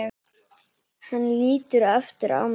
Hann lítur aftur á mig.